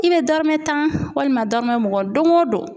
I bɛ dɔrɔmɛ tan walima dɔrɔmɛ mugan don o don.